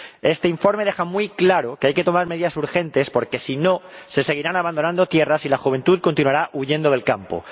Este informe deja muy claro que hay que tomar medidas urgentes, porque, si no, se seguirán abandonando tierras y la juventud continuará huyendo del campo.